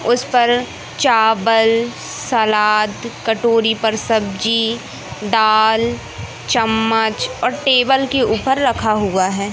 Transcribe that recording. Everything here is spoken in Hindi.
उसपर चावल सलाद कटोरी पर सब्जी दाल चम्मच और टेबल के ऊपर रखा हुआ है।